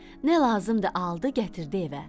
Nə lazımdır, aldı, gətirdi evə.